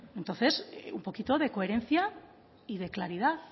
entonces un poquito de coherencia y de claridad